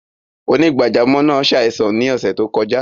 Onígbàjàmọ́ naa ṣáìsàn ni ọṣẹ́ tó kọja.